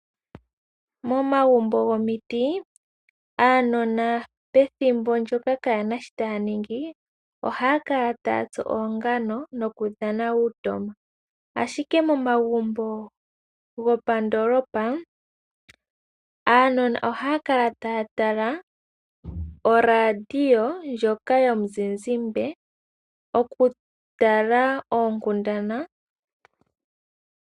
Momagumbo gomiti, aanona pethimbo ndyoka ka ye na shi taaningi, oha ya kala taatsu oongano nokudhana uutoma. Ashike momagumbo gopandoolopa, aanona oha ya kala taa tala oradio ndjoka yomuzizimbe oku tala oonkundana.